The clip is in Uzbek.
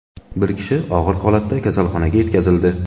Bir kishi og‘ir holatda kasalxonaga yetkazildi.